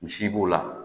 Misi b'o la